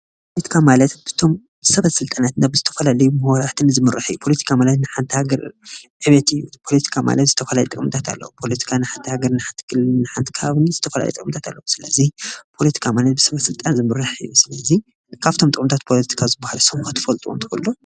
ፖለቲካ ማለት እቶም ሰበስልጣናት ናብ ዝተፈላለዩ መራሕቲ ዝምራሕ እዩ። ፖለቲካ ማለት ንሓንቲ ሃገር ዕብየት እዩ። ፖለቲካ ማለት ዝተፈላለዩ ጥቅምትታት ኣለውዎ። ፖለቲካ ንሓንቲ ሃገር ን ሓንቲ ክልል ዝተፈላለዩ ጥቕምታት ኣልዉዎ ። ፖለቲካ ማለት ብሰበስልጣን ዝምራሕ እዩ። ስለዚ ካብቶም ናይ ፖለቲካ ጥቅምታት ዝባሃሉ ክትፈልጥዎም ትኽእሉ ዶ?